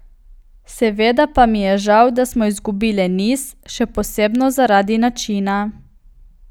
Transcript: Seveda pa mi je žal, da smo izgubile niz, še posebno zaradi načina.